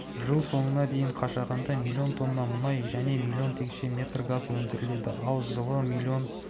жыл соңына дейін қашағанда млн тонна мұнай және млн текше метр газ өндіріледі ал жылы млн